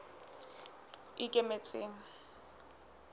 ikemetseng